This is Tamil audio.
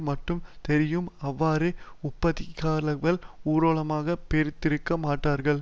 மட்டுமே தெரியும் அவ்வாறே உட்பகையுள்ளவர்கள் உளமாரப் பொருந்தியிருக்க மாட்டார்கள்